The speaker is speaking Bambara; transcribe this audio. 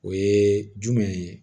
O ye jumɛn ye